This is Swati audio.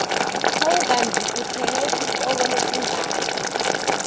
hawu kandzi utsenge titoko letingaki